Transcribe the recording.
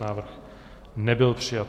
Návrh nebyl přijat.